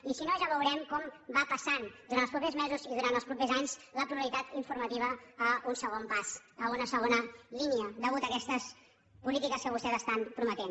i si no ja veurem com va passant durant els propers mesos i durant els propers anys la pluralitat informativa a un segon pas a una segona línia a causa d’aquestes polítiques que vostès estan prometent